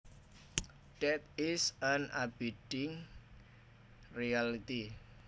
Death is an abiding reality